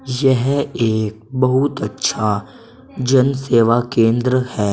यह एक बहुत अच्छा जन सेवा केंद्र है।